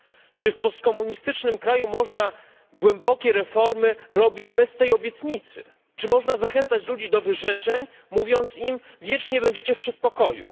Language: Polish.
Czy w postkomunistycznym kraju można głębokie reformy przeprowadzać bez tej obietnicy? Czy można zachęcać ludzi do wyrzeczeń, mówiąc im wiecznie będziecie w przedpokoju?